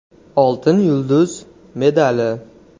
“Oltin yulduz” medali.